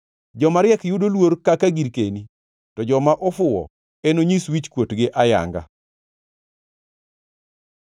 Joma riek yudo luor kaka girkeni to joma ofuwo enonyis wichkuotgi ayanga.